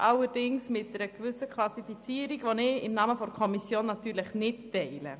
Dies jedoch mit einer gewissen Klassifikation, welche ich im Namen der Kommission nicht teile.